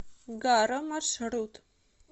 гаро маршрут